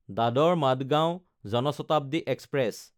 Dadar Madgaon Jan Shatabdi express